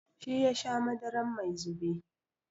Shi yasha madarar mai zube.